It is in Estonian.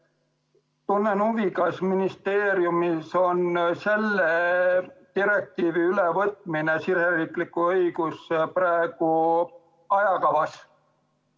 Tunnen huvi, kas ministeeriumil on selle direktiivi ülevõtmine riigisisesesse õigusse praegu ajakavas.